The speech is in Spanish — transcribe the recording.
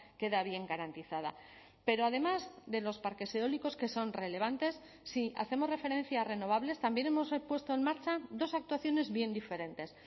queda bien garantizada pero además de los parques eólicos que son relevantes si hacemos referencia a renovables también hemos puesto en marcha dos actuaciones bien diferentes